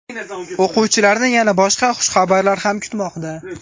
O‘quvchilarni yana boshqa xushxabarlar ham kutmoqda.